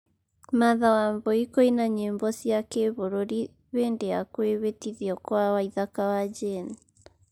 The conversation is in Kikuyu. martha wambui kũina nyĩmbo cia gĩbũrũri hĩndĩ ya kwĩhĩtithio kwa waithaka wa jane